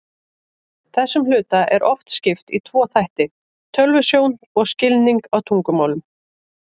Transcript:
Þessum hluta er oft skipt í tvo þætti, tölvusjón og skilning á tungumálum.